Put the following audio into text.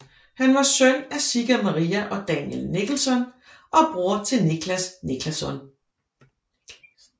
Han var søn af Sigga Maria og Daniel Niclasen og bror til Niclas Niclasen